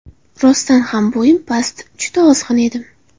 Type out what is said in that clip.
Rostdan ham bo‘yim past, juda ozg‘in edim.